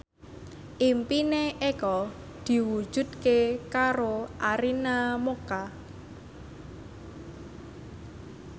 impine Eko diwujudke karo Arina Mocca